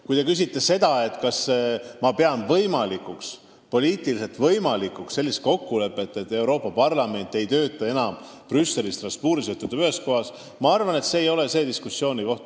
Kui te küsite, kas ma pean poliitiliselt võimalikuks kokkulepet, et Euroopa Parlament ei tööta enam Brüsselis ja Strasbourgis, vaid töötab ühes kohas, siis minu arvates see ei ole diskussiooni koht.